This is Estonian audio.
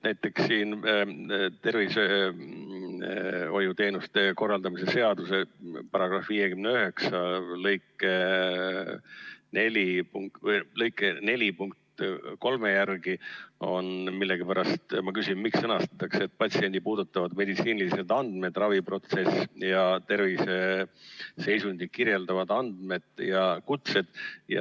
Näiteks siin tervishoiuteenuste korraldamise seaduse § 591 lõike 4 punkt 3 sõnastatakse millegipärast – ja ma küsingi, miks – nii: "patsienti puudutavad meditsiinilised andmed – raviprotsessi ja terviseseisundit kirjeldavad andmed ning kutsed".